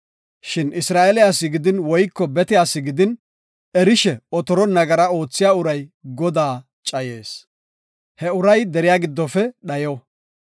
“Shin Isra7eele asi gidin woyko bete asi gidin erishe otoron nagara oothiya uray Godaa cayees. He uray deriya giddofe dhayo.